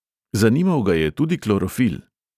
Zanimal ga je tudi klorofil.